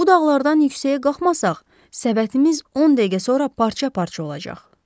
Bu dağlardan yüksəyə qalxmasaq, səbətimiz 10 dəqiqə sonra parça-parça olacaq.